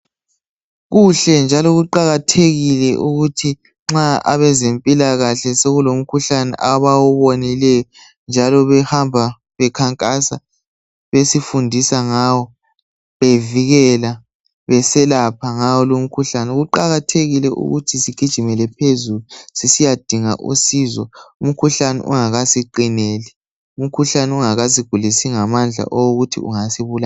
Kuhle njalo kuqakathekile ukuthi nxa abezempilakahle soku lomkhuhlane abawubonileyo njalo behamba bekhankasa besifundisa ngawo bevikela beselapha ngawo lomkhuhlane. Kuqakathekile ukuthi sigijimele phezulu sisiyadinga usizo umkhuhlane ungaka siqineli. Umkhuhlane ungakasigulisi ngamandla okokuthi ungasibulala.